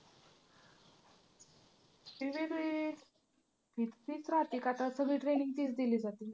fee वेगळी तितकीच राहती का तर सगळी training तीच दिली जाती ना.